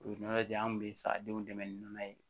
U ye nɔnɔ di an kun bɛ sa denw dɛmɛ ni nɔnɔ ye